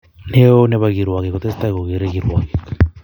neo nepo kirwogik ko tesetai ko gere kirwogik